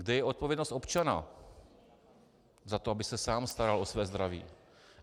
Kde je odpovědnost občana za to, aby se sám staral o své zdraví?